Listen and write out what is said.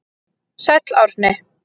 Sæll Árni.